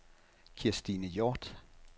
Kirstine Hjort